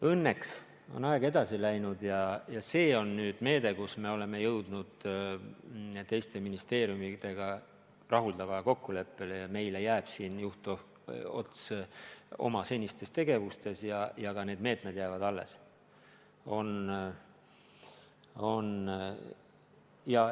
Õnneks on aeg edasi läinud ja see on nüüd meede, mille osas me oleme jõudnud teiste ministeeriumitega rahuldavale kokkuleppele: meile jääb juhtots oma senistes tegevustes ja ka need meetmed jäävad alles.